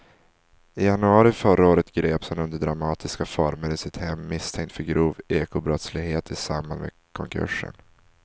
I januari förra året greps han under dramatiska former i sitt hem misstänkt för grov ekobrottslighet i samband med konkursen.